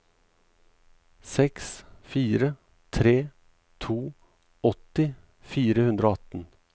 seks fire tre to åtti fire hundre og atten